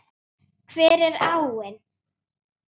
Hver er áin?